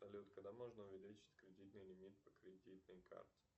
салют когда можно увеличить кредитный лимит по кредитной карте